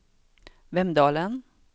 Vemdalen